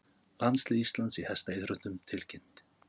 Landslið Íslands í hestaíþróttum tilkynnt